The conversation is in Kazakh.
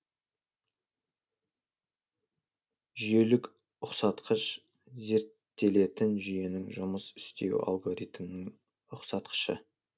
жүйелік ұқсатқыш зерттелетін жүйенің жұмыс істеу алгоритмінің ұқсатқышы